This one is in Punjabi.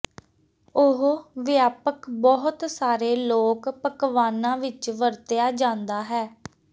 ਉਹ ਵਿਆਪਕ ਬਹੁਤ ਸਾਰੇ ਲੋਕ ਪਕਵਾਨਾ ਵਿੱਚ ਵਰਤਿਆ ਜਾਦਾ ਹੈ